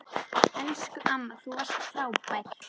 Elsku amma, þú varst frábær.